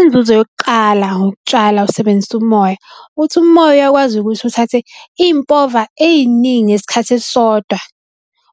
Inzuzo yokuqala ngokutshala usebenzisa umoya, ukuthi umoya uyakwazi ukuthi uthathe impova eyiningi ngesikhathi esisodwa